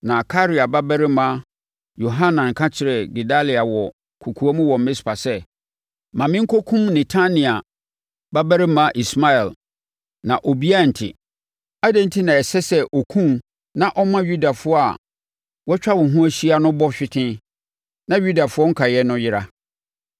Na Karea babarima Yohanan ka kyerɛɛ Gedalia wɔ kɔkoam wɔ Mispa sɛ, “Ma menkɔkum Netania babarima Ismael, na obiara rente. Adɛn enti na ɛsɛ sɛ ɔkum wo na ɔma Yudafoɔ a wɔatwa wo ho ahyia no bɔ hwete, na Yudafoɔ nkaeɛfoɔ no yera?”